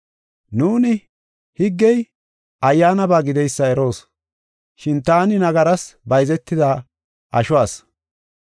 Nuuni higgey ayyaanaba gideysa eroos. Shin taani nagaras bayzetida asho asi.